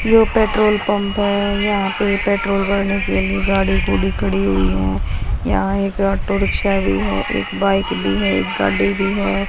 यो petrol pump है यहा पे पेट्रोल भरने के लिए गाड़ी गुडी खड़ी हुई है यहां एक ऑटो रिक्शा भी है एक बाइक भी है एक गाडि भी है।